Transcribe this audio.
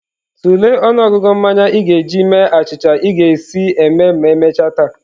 Tulee ọnụọgụ mmanya ị ga-eji mee achịcha ị ga-esi eme ma emechaa taa.